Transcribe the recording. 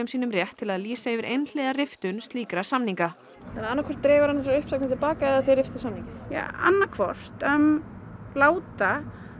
sínum rétt til að lýsa yfir einhliða riftun slíkra samninga þannig annað hvort dregur hann þessar uppsagnir til baka eða þið riftið samningi annað hvort láta